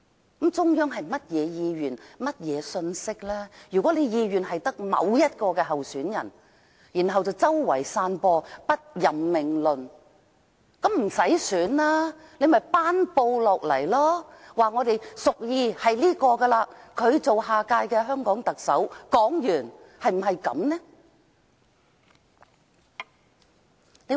如果中央的意願只是選出某位候選人，但卻四處散播不任命論，倒不如不要選舉，索性頒布："我們屬意這一位擔任下一屆香港特首"？